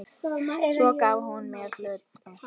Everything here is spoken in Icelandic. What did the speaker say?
Svo gaf hún mér hluti.